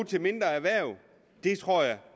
til mindre erhverv det tror jeg